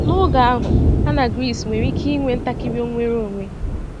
N’oge ahụ, ha nọ na Gris nwere ike inwe ntakịrị nnwere onwe.